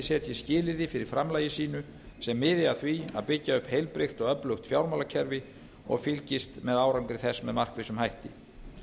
setji skilyrði fyrir framlagi sínu sem miði að því að byggja upp heilbrigt og öflugt fjármálakerfi og fylgist með árangri þess með markvissum hætti